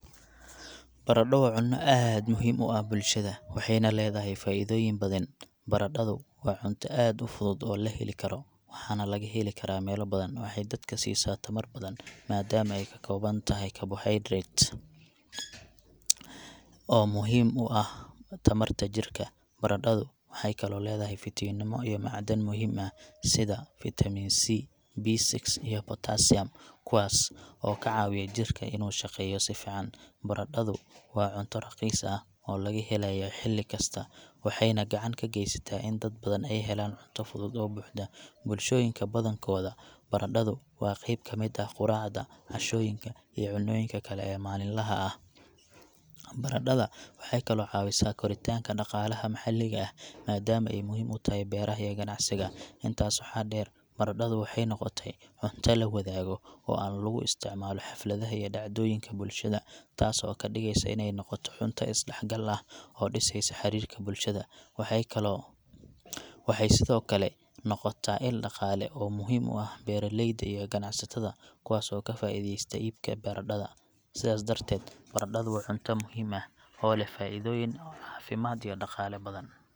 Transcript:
Baradho waa cunno aad muhiim u ah bulshada, waxayna leedahay faa’iidooyin badan. Baradhadu waa cunto aad u fudud oo la heli karo, waxaana laga heli karaa meelo badan. Waxay dadka siisaa tamar badan maadaama ay ka kooban tahay karbohaydrayt, oo muhiim u ah tamarta jidhka. Baradhadu waxay kaloo leedahay fiitamiinno iyo macdan muhiim ah sida fiitamiin C, B6, iyo potassium, kuwaas oo ka caawiya jidhka inuu shaqeeyo si fiican. Baradhadu waa cunto raqiis ah oo laga helayo xilli kasta, waxayna gacan ka geysataa in dad badan ay helaan cunto fudud oo buuxda. Bulshooyinka badankooda, baradhadu waa qayb ka mid ah quraacda, cashooyinka, iyo cunnooyinka kale ee maalinlaha ah. Baradhada waxay kaloo caawisaa koritaanka dhaqaalaha maxalliga ah, maadaama ay muhiim tahay beeraha iyo ganacsiga. Intaas waxaa dheer, baradhadu waxay noqotay cunto la wadaago oo aan lagu isticmaalo xafladaha iyo dhacdooyinka bulshada, taas oo ka dhigeysa inay noqoto cunto isdhexgal ah oo dhisaysa xiriirka bulshada. Waxay kaloo , Waxay sidoo kale noqotaa il dhaqaale oo muhiim u ah beeralayda iyo ganacsatada, kuwaas oo ka faa'iidaysta iibka baradhada. Sidaas darteed, baradhadu waa cunto muhiim ah oo leh faa'iidooyin caafimaad iyo dhaqaale oo badan.